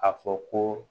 A fɔ ko